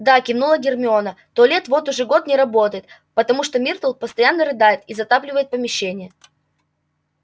да кивнула гермиона туалет вот уже год не работает потому что миртл постоянно рыдает и затапливает помещение